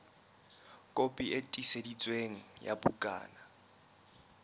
kopi e tiiseditsweng ya bukana